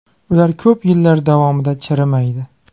Ular ko‘p yillar davomida chirimaydi.